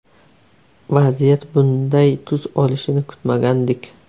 Vaziyat bunday tus olishini kutmagandik.